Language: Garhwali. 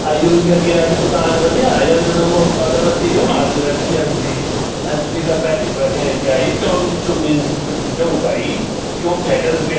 अ यु यख यैक दूकान ह्वली या यख जदों मो अगरबत्ती गम्मा च रखीं यख जी अ जू येका पैकेट बके ग्याई चौमिन चूमिन ग ग्यू भाई यूँ खैके त पेट।